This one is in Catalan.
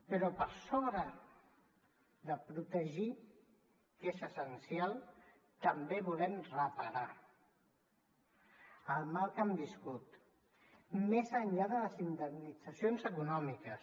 però per sobre de protegir que és essencial també volem reparar el mal que han viscut més enllà de les indemnitzacions econòmiques